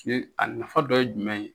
a nafa dɔ ye jumɛn ye?